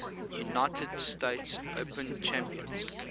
united states open champions